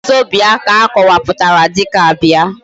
wazobia ka akowaputara dika bia